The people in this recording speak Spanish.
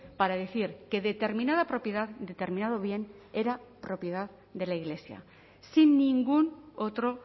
para decir que determinada propiedad determinado bien era propiedad de la iglesia sin ningún otro